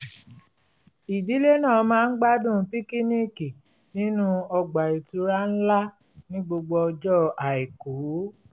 ìdílé náà máa ń gbádùn píkíníìkì nínú ọgbà ìtura tó ńlá ní gbogbo ọjọ́ àìkú